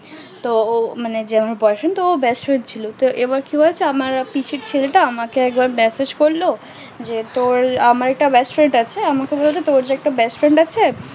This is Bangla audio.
তো ও মানে এবার কি হয়েছে আমার পিসির ছেলে টা আমাকে একবার massage করলো তো আমার একটা best friend আছে আমাকে বলছে তোর যে একটা best friend আছে